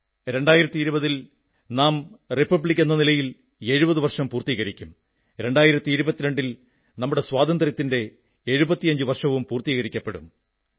2020 ൽ നാം ഗണതന്ത്രം റിപ്പബ്ലിക് എന്ന നിലയിൽ 70 വർഷം പൂർത്തീകരിക്കും 2022 ൽ നമ്മുടെ സ്വാതന്ത്ര്യത്തിന്റെ 75 വർഷവും പൂർത്തീകരിക്കപ്പെടും